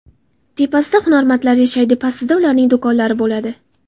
Tepasida hunarmandlar yashaydi, pastida ularning do‘konlari bo‘ladi.